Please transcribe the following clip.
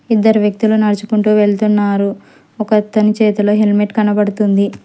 ఇద్దరు వ్యక్తులు నడుచుకుంటూ వెళ్తున్నారు ఒకతని చేతిలో హెల్మెట్ కనబడుతుంది.